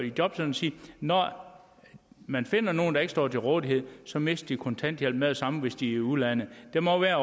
sige at når man finder nogen der ikke står til rådighed så mister de kontanthjælpen med det samme hvis de er i udlandet der må være